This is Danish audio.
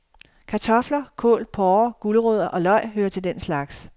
Kartofler, kål, porrer, gulerødder og løg hører til den slags.